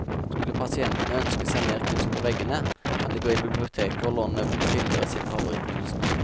Skulle pasientene ønske seg mer kunst på veggene, kan de gå på biblioteket å låne bilder av sin favorittkunstner.